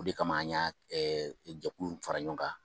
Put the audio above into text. O de kama an y'a jɛkulu in fara ɲɔgɔn kan.